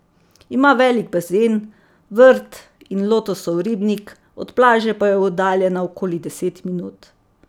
Ima velik bazen, vrt in lotosov ribnik, od plaže pa je oddaljena okoli deset minut.